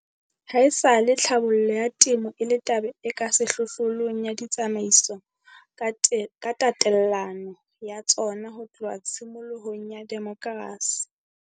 Haesale tlhabollo ya temo e le taba e ka sehlohlolong ya ditsamaiso ka tatelano ya tsona ho tloha tshimolohong ya demokrasi.